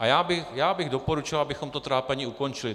A já bych doporučil, abychom to trápení ukončili.